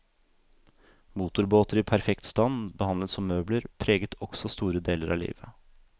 Motorbåter i perfekt stand, behandlet som møbler, preget også store deler av livet.